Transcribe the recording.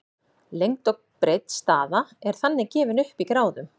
lengd og breidd staða er þannig gefin upp í gráðum